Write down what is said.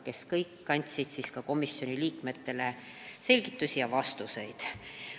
Nad kõik andsid komisjoni liikmetele selgitusi ja vastuseid.